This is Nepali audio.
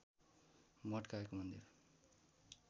मठका एक मन्दिर